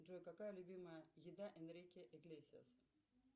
джой какая любимая еда энрике иглесиаса